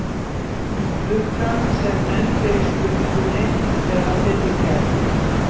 Klukkan sem nefnd er í spurningunni er af þeirri gerð.